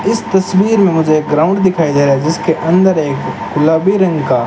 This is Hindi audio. इस तस्वीर में मुझे एक ग्राउंड दिखाई दे रहा है जिसके अंदर एक गुलाबी रंग का--